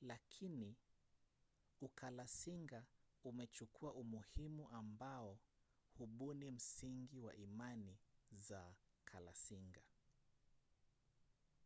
lakini ukalasinga umechukua umuhimu ambao hubuni msingi wa imani za kalasinga